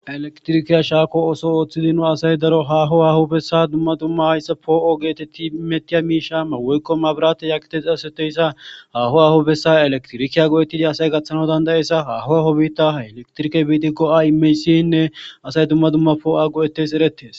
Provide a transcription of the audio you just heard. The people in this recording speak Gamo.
elektrikeya shaako oso ooththidino asay daro haho hahubessa dumma dumma hayssa poo7o geetetti metiya miishama woykkomabirate yakete xaseteyssa haho ahu bessa elektrikiya go7ettidi asay gaththana dandayessa haho aho biitta ha elektrike biiti go7a imeysiyinne asay dumma dumma poo7a go7ettes erettes